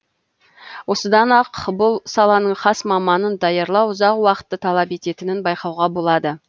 осыдан ақ бұл саланың хас маманын даярлау ұзақ уақытты талап ететінін байқауға болады